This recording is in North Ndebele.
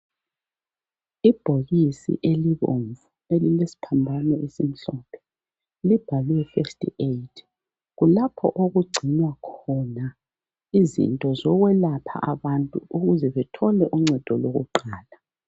Ibhokisi elibomvu elilesiphambano esimhlophe libhalwe first aid . Kulapho okugcinwa khona izinto zokwelapha abantu ukuze bethole uncedo lokuqala.